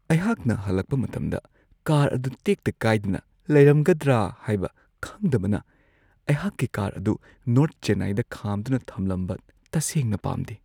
ꯑꯩꯍꯥꯛꯅ ꯍꯜꯂꯛꯄ ꯃꯇꯝꯗ ꯀꯥꯔ ꯑꯗꯨ ꯇꯦꯛꯇ ꯀꯥꯏꯗꯅ ꯂꯩꯔꯝꯒꯗ꯭ꯔꯥ ꯍꯥꯏꯕ ꯈꯪꯗꯕꯅ ꯑꯩꯍꯥꯛꯀꯤ ꯀꯥꯔ ꯑꯗꯨ ꯅꯣꯔꯊ ꯆꯦꯟꯅꯥꯏꯗ ꯈꯥꯝꯗꯨꯅ ꯊꯝꯃꯝꯕ ꯇꯁꯦꯡꯅ ꯄꯥꯝꯗꯦ ꯫